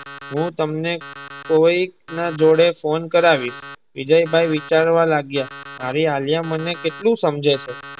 હું તમને કોઈક ના જોડે ફોન કરાવીશ. વિજયભાઇ વિચારવા લાગ્યા મારી આલિયા મને કેટલું સમજે છે.